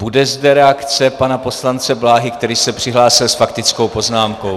Bude zde reakce pana poslance Bláhy, který se přihlásil s faktickou poznámkou.